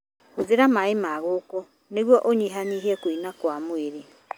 Hũthĩra maĩ ma ngũkũ nĩguo ũnyihanyihie kũina kwa mwĩrĩ.